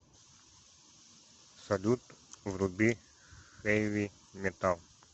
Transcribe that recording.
салют вруби хэви метал